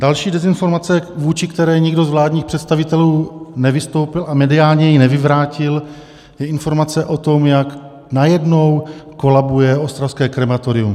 Další dezinformace, vůči které nikdo z vládních představitelů nevystoupil a mediálně ji nevyvrátil, je informace o tom, jak najednou kolabuje ostravské krematorium.